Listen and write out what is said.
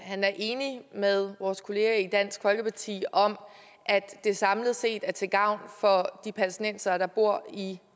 er enig med vores kollegaer i dansk folkeparti om at det samlet set er til gavn for de palæstinensere der bor i